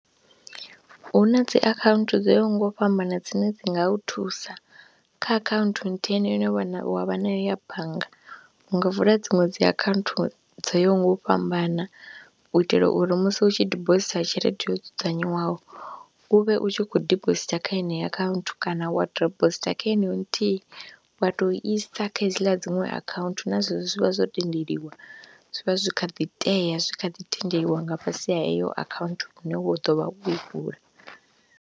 Hu na dzi akhaunthu dzo yaho nga u fhambana dzine dzi nga u thusa kha akhaunthu nthihi yeneyo ine wa vha nayo ya bannga u nga vula dziṅwe dzi akhaunthu dzo yaho nga u fhambana u itela uri musi hu tshi dibositha tshelede yo dzudzanywaho u vhe u tshi khou dibositha kha yeneyo akhaunthu kana wa dibositha kha heneyo nthihi wa tou isa kha hedziḽa dziṅwe akhaunthu na zwezwo zwi vha zwo tendeliwa, zwi vha zwi kha ḓi tea, zwi kha ḓi tendeliwa nga fhasi ha heyo akhaunthu une wa ḓo vha wo i vula.